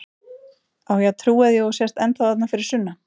Á ég að trúa því að þú sért ennþá þarna fyrir sunnan?